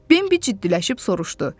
Bimbi ciddiləşib soruşdu.